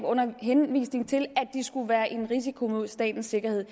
under henvisning til at de skulle være en risiko mod statens sikkerhed